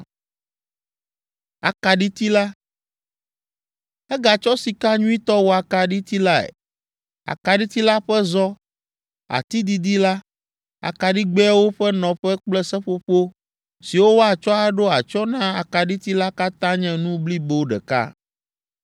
Egatsɔ sika nyuitɔ wɔ akaɖiti lae. Akaɖiti la ƒe zɔ, ati didi la, akaɖigbɛawo ƒe nɔƒe kple seƒoƒo siwo woatsɔ aɖo atsyɔ̃ na akaɖiti la katã nye nu blibo ɖeka.